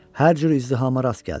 Hər cür izdihama rast gəldi.